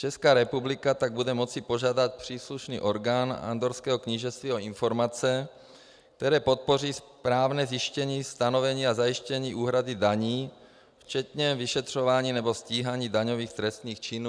Česká republika tak bude moci požádat příslušný orgán Andorrského knížectví o informace, které podpoří správné zjištění, stanovení a zajištění úhrady daní včetně vyšetřování nebo stíhání daňových trestných činů.